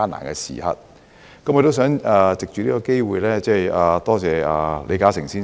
我想藉此機會感謝李嘉誠先生。